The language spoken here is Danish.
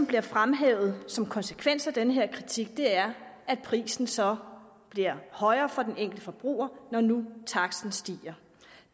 bliver fremhævet som en konsekvens af den her kritik er at prisen så bliver højere for den enkelte forbruger når nu taksten stiger